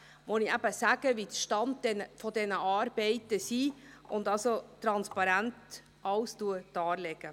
Ich werde sagen, welches der Stand der Arbeiten ist und alles transparent darlegen.